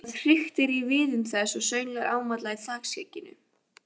Það hriktir í viðum þess og sönglar ámáttlega í þakskegginu.